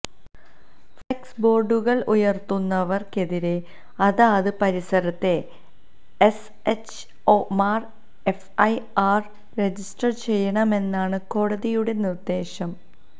flux ബോർഡുകൾ ഉയർത്തുന്നവർക്കെതിരെ അതാത് പരിസരത്തെ എസ്എച്ച്ഒമാർ എഫ് ഐ ആർ രജിസ്റ്റർ ചെയ്യണമെന്നാണ് കോടതിയുടെ നിര്ദ്ദേശം